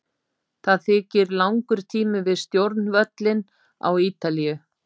Það þykir langur tími við stjórnvölinn á Ítalíu.